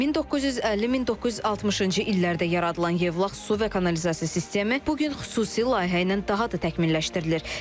1950-1960-cı illərdə yaradılan Yevlax su və kanalizasiya sistemi bu gün xüsusi layihə ilə daha da təkmilləşdirilir.